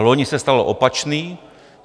Loni se stalo opačné.